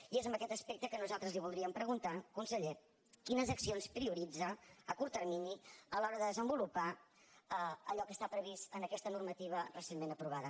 i és en aquest aspecte que nosaltres li voldríem preguntar conseller quines accions prioritza a curt termini a l’hora de desenvolupar allò que està previst en aquesta normativa recentment aprovada